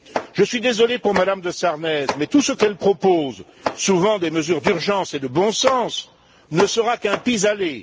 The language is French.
Je suis désolé pour Mme de Sarnez, mais tout ce qu'elle propose souvent des mesures d'urgence et de bon sens ne sera qu'un pis aller.